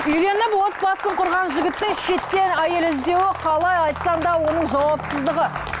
үйленіп отбасын құрған жігіттің шеттен әйел іздеуі қалай айтсаң да оның жауапсыздығы